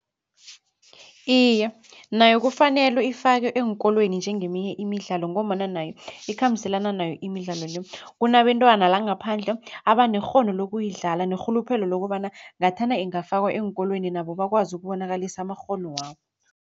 Iye, nayo kufanele ifakwe eenkolweni njengeminye imidlalo ngombana nayo ikhambiselana nayo imidlalo le. Kunabentwana la ngaphandle abanekghono lokuyidlala nerhuluphelo lokobana ngathana ingafakwa eenkolweni nabo bakwazi ukubonakalisa amakghono wabo.